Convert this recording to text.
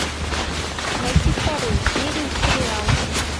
найти вторую серию сериала